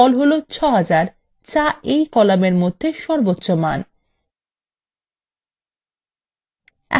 লক্ষ্য করুন ফল হলো ৬০০০ যা এই কলামের মধ্যে সর্বোচ্চ মান